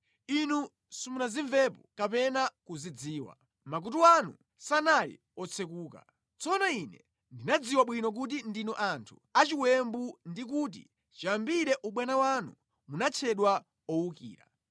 Inu simunazimvepo kapena kuzidziwa; makutu anu sanali otsekuka. Tsono Ine ndinadziwa bwino kuti ndinu anthu achiwembu ndi kuti chiyambire ubwana wanu munatchedwa owukira.